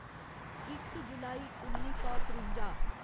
इक जुलाई उन्नी सौ त्रुंजा